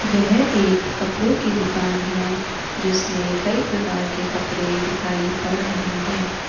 यह एक कपड़ों की दुकान है जिसमें कई प्रकार के कपड़े दिखाई पड़ रहे हैं।